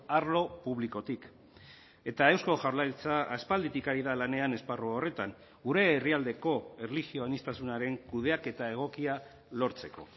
arlo publikotik eta eusko jaurlaritza aspalditik ari da lanean esparru horretan gure herrialdeko erlijio aniztasunaren kudeaketa egokia lortzeko